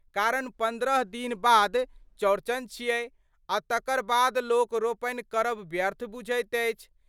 कारण पन्द्रह दिन बाद चौरचन छिऐ आ तकर बाद लोक रोपनि करब व्यर्थ बझैत अछि।